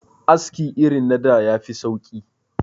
Aski irin na da ya fi sauki